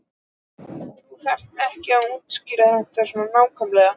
Þú þarft ekki að útskýra þetta svona nákvæmlega.